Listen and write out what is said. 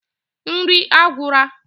Nri agwura